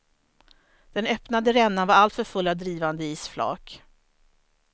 Den öppnade rännan var alltför full av drivande isflak.